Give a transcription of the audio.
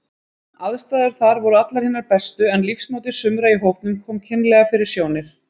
Aðstæður þar voru allar hinar bestu, en lífsmáti sumra í hópnum kom kynlega fyrir sjónir.